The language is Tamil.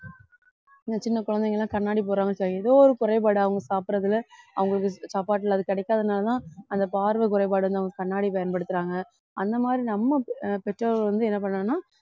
இந்த சின்ன குழந்தைங்க எல்லாம் கண்ணாடி போறாங்க சரி ஏதோ ஒரு குறைபாடு அவங்க சாப்பிடுறதுல அவங்களுக்கு சாப்பாட்டுல அது கிடைக்காதனாலதான் அந்த பார்வை குறைபாடு வந்து அவங்க கண்ணாடி பயன்படுத்துறாங்க அந்த மாதிரி நம்ம பெற்றோர்கள் வந்து என்ன பண்ணணும்னா